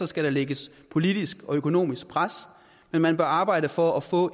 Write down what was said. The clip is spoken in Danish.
skal der lægges politisk og økonomisk pres men man bør arbejde for at få